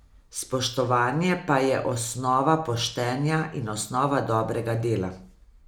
Spoštovanje pa je osnova poštenja in osnova dobrega dela.